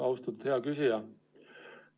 Austatud hea küsija!